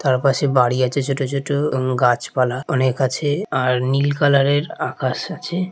তার পাশে বাড়ি আছে ছোট ছোট। কোন গাছপালা অনেক আছে আর নীল কালারের এ আকাশ আছে।